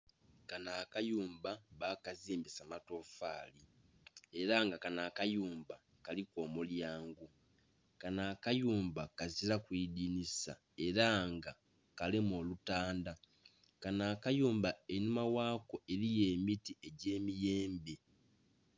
Kanho akayumba bakazimbisa amatoofali era nga kanho akayumba kalimu omulyango, kanho akayumba kazilalu idhinhisa era nga kalimu olutandha, kanho akayumba einhuma ghakyo eriyo emiti egye miyembe.